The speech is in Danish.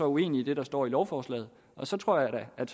uenig i det der står i lovforslaget og så tror jeg da at